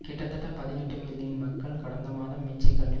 கிட்டத்தட்ட பதினெட்டு மில்லியன் மக்கள் கடந்த மாதம் மிச்சிகனில்